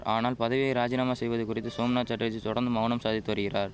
ஆனால் பதவியை ராஜினாமா செய்வது குறித்து சோம்நாத் சட்டர்ஜி தொடர்ந்து மவுனம் சாதித்து வரிகிறார்